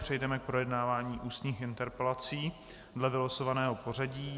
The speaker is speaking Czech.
Přejdeme k projednávání ústních interpelací dle vylosovaného pořadí.